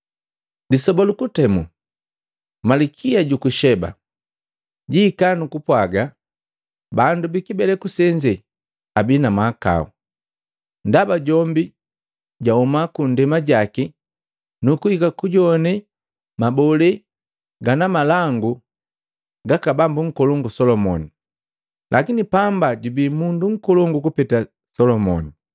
Lisoba lu kutemu, Malikia juku Sheba jihika nukupwa bandu bikibeleku senze abii na mahakau, ndaba jombi ja huma kundema jaki nukuhika kujowane mabole gana malangu gaka Bambu Nkolongu Solomoni, lakini pamba jubii mundu nkolongu kupeta Selemani.